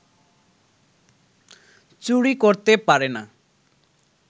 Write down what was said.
চুরি করতে পারে না